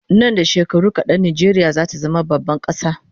Nan da shekaru kadan Najeriya zata zama baban kasa